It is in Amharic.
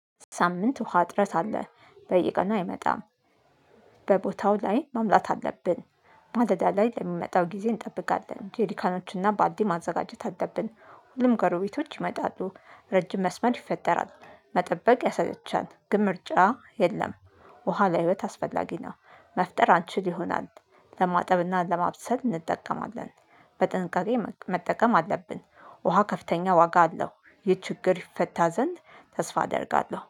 ሳምንት ውሃ ጥረት አለ። በየቀኑ አይመጣም። በቦታው ላይ ሙሙላት አለብን። ማለዳ ላይ ለሚመጣው ጊዜ እንጠብቃለን። ጄሪካኖችና ባልዲ ማዘጋጀት አለብን። ሁሉም ጎሮቤቶች ይመጣሉ። ረጅም መስመር ይፈጠራል። መጠበቅ ያሰለቻል። ግን ምርጫ የለም። ውሃ ለህይወት አስፈላጊ ነው። መፍጠር አንችል ይሆናል። ለማጠብና ለማብሰል እንጠቀማለን። በጥንቃቄ መጠቀም አለብን። ውሃ ከፍተኛ ዋጋ አለው። ይህ ችግር ይፈታ ዘንድ ተስፋ አደርጋለሁ።